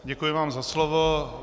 Děkuji vám za slovo.